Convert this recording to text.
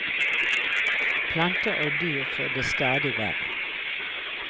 Planter og dyr får det stadig verre.